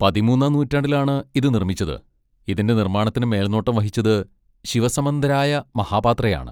പതിമൂന്നാം നൂറ്റാണ്ടിലാണ് ഇത് നിർമ്മിച്ചത്, ഇതിന്റെ നിർമ്മാണത്തിന് മേൽനോട്ടം വഹിച്ചത് ശിവ സമന്തരായ മഹാപാത്രയാണ്.